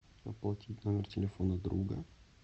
оплатить номер телефона друга